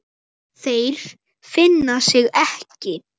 Þeir finna sig ekki.